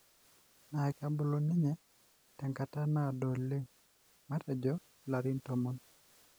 na kebulu ninye tenkata nado oleng, matejo ilarin tomon.